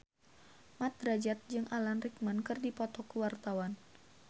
Mat Drajat jeung Alan Rickman keur dipoto ku wartawan